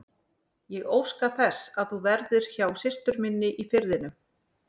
Ég óska þess að þú verðir hjá systur minni í Firðinum.